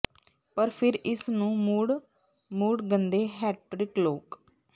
ਪਰ ਫਿਰ ਇਸ ਨੂੰ ਮੁੜ ਮੁੜ ਗੰਦੇ ਹੈਟ੍ਰਿਕ ਲੋਕ